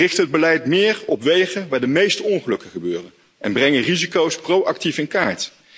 We richten het beleid meer op wegen waar de meeste ongelukken gebeuren en brengen risico's proactief in kaart.